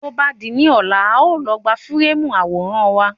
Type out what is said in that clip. Tó bá di ní ọ̀la, a ó lọ gbà fíréèmù àwòrán wa.